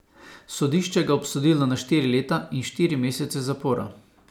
Sodišče ga je obsodilo na štiri leta in štiri mesece zapora.